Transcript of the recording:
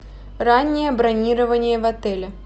раннее бронирование в отеле